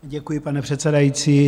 Děkuji, pane předsedající.